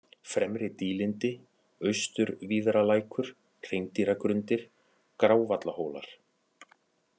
Fremri-Dýlindi, Austurvíðralækur, Hreindýragrundir, Grávallahólar